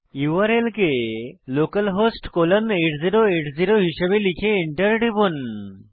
URL কে localhost colon 8080 হিসাবে লিখে Enter টিপুন